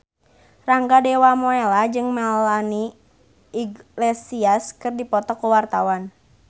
Rangga Dewamoela jeung Melanie Iglesias keur dipoto ku wartawan